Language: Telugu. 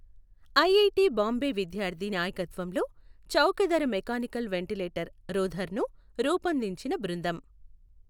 ఐఐటీ బాంబే విద్యార్థి నాయకత్వంలో చౌకధర మెకానికల్ వెంటిలేటర్ రూధర్ను రూపొందించిన బృందం.